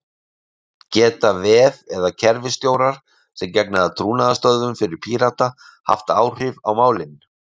Geta vef- eða kerfisstjórar sem gegna trúnaðarstörfum fyrir Pírata haft áhrif á málin?